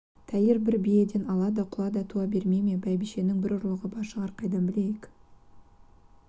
тәйір брі биеден ала да құла да туа бермей ме бәйбішенің бір ұрлығы бар шығар қайдан білейік